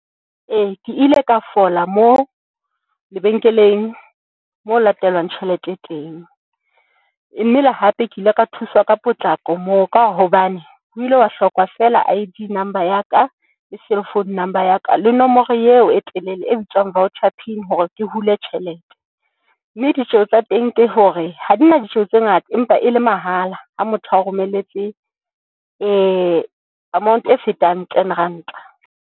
E, ke ile ka fola moo lebenkeleng moo ho latelwang tjhelete teng mme le hape ke ile ka thuswa ka potlako moo, ka hobane ho ile wa hloka fela I_D number ya ka le cellphone number ya ka, le nomoro eo e telele e bitswang voucher pin, hore ke hule tjhelete mme ditjeo tsa teng. Ke hore ha di na ditjeo tse ngata empa e le mahala ha motho o romelletse amount e fetang ten ranta.